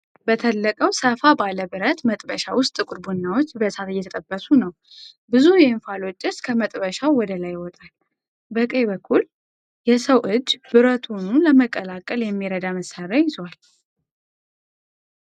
በተለቀው፣ ሰፋ ባለ ብረት መጥበሻ ውስጥ ጥቁር ቡናዎች በእሳት እየተጠበሱ ነው። ብዙ የእንፋሎት ጭስ ከመጥበሻው ወደ ላይ ይወጣል። በቀኝ በኩል የሰው እጅ ብረቱኑ ለመቀላቀል የሚረዳ መሳሪያ ይዟል።